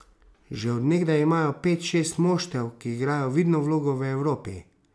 Že od nekdaj imajo pet, šest moštev, ki igrajo vidno vlogo v Evropi.